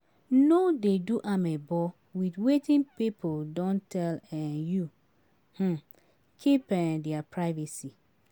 No dey do amebo with wetin pipo don tell um you, um keep um their privacy